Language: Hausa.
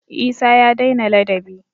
Isah ya dai na ladabi